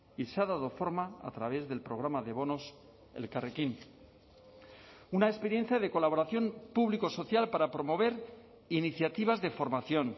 y se ha dado forma a través del programa de bonos elkarrekin una experiencia de colaboración público social para promover iniciativas de formación